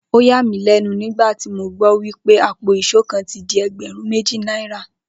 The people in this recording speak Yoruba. Ó yà mí lé̩nu nígbà tí mo gbó̩ wipé àpò ìs̩ó kan ti di e̩gbè̩rún méjì náírà